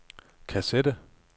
kassette